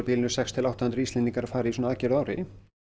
bilinu sex til átta hundruð Íslendingar að fara í svona aðgerð á ári